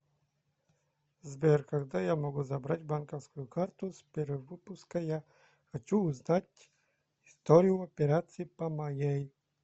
сбер когда я могу забрать банковскую карту с перевыпуска я хочу узнать историю операций по моей